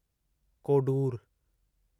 Kodur